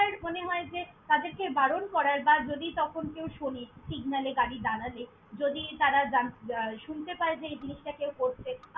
~আর মনে হয় যে তাদেরকে বারণ করার বা যদি তখন কেউ শোনে signal এ গাড়ি দাড়ালে যদি তারা জান~ আহ শুনতে পায় যে এই জিনিসটা কেউ করছে।